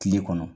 Kile kɔnɔ